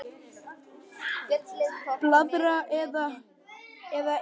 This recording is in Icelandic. Blaðra eða Ek?